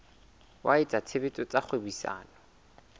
wa etsa tshebetso tsa kgwebisano